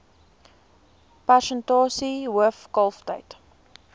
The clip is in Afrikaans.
persentasie hoof kalftyd